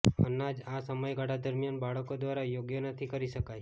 અનાજ આ સમયગાળા દરમિયાન બાળકો દ્વારા યોગ્ય નથી કરી શકાય